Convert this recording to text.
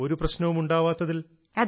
ഒരു പ്രശ്നവും ഉണ്ടാവാത്തതിൽ